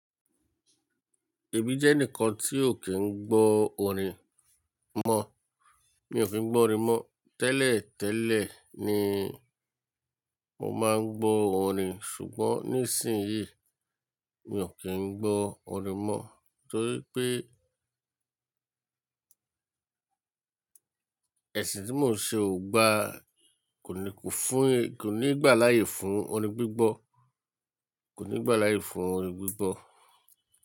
Èmi jẹ́ ẹnìkan tí ò kí ń gbọ́ orin mọ́. Mi ò fe gbọ́ orin mọ́, tẹ́lẹ̀ tẹ́lẹ̀ ni mo máa ń gbọ́ orin ṣùgbọ́n nísìnyí mi ò kí ń gbọ́ orin mọ́ torí pé ẹ̀sìn tí mò ń ṣe o gba, kò ní kún fún kò ní gbà láyè fún orin gbígbọ́, kò ní gbà láyè fún orin gbígbọ́.